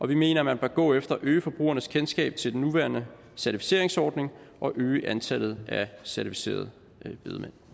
vi mener at man bør gå efter at øge forbrugernes kendskab til den nuværende certificeringsordning og øge antallet af certificerede bedemænd